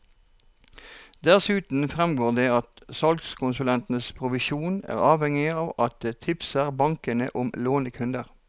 Dessuten fremgår det at salgskonsulentenes provisjon er avhengig av at de tipser banken om lånekunder.